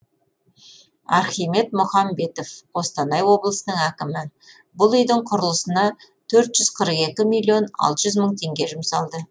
архимед мұхамбетов қостанай облысының әкімі бұл үйдің құрылысына төрт жүз қырық екі миллион алты жүз мың теңге жұмсалды